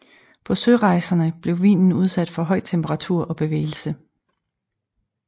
På sørejserne blev vinen udsat for høj temperatur og bevægelse